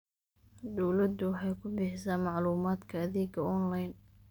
Dawladdu waxay ku bixisaa macluumaadka adeegga onlayn.